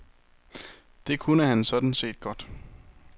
Det kunne han sådan set godt.